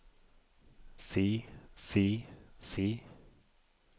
si si si